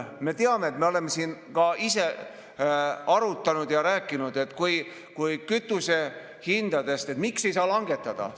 Me teame, oleme siin ka ise arutanud ja rääkinud seoses kütusehindadega, et miks ei saa langetada.